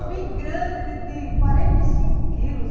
bem grande, de de quarenta e cinco quilos.